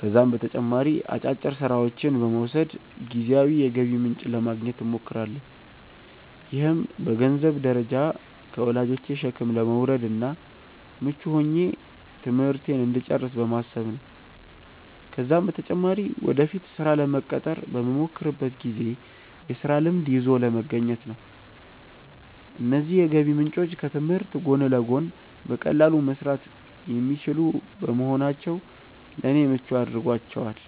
ከዛም በተጨማሪ አጫጭር ስራዎችን በመውሰድ ጊዜያዊ የገቢ ምንጭ ለማግኘት እሞክራለሁ። ይህም በገንዘንብ ደረጃ ከወላጆቼ ሸክም ለመውረድ እና ምቹ ሆኜ ትምህርቴን እንድጨርስ በማሰብ ነው ነው። ከዛም በተጨማሪ ወደፊት ስራ ለመቀጠር በመሞክርበት ጊዜ የስራ ልምድ ይዞ ለመገኘት ነው። እነዚህ የገቢ ምንጮች ከትምህርት ጎን ለጎን በቀላሉ መሰራት የሚችሉ በመሆናቸው ለኔ ምቹ አድርጓቸዋል።